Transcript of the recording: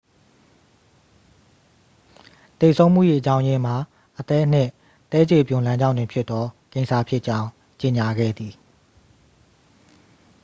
သေဆုံးမှု၏ အကြောင်းရင်းမှာ အသည်းနှင့်သည်းခြေပြွန်လမ်းကြောင်းတွင်ဖြစ်သောကင်ဆာဖြစ်ကြောင်း ကြေညာခဲ့သည်